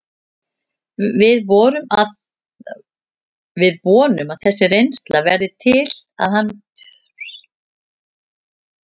Við vonum að þessi reynsla verði til að hann geri tilkall til sætis í aðalliðinu.